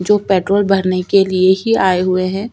जो पेट्रोल भरने के लिए ही आए हुए है।